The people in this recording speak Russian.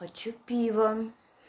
хочу пива